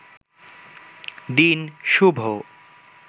দিন শুভ